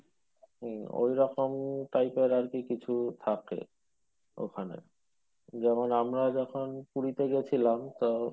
হম ঐইরকমই type এর আর কি কিছু থাকে ওখানে যেমন আমরা যখন পুরীতে গেছিলাম তো,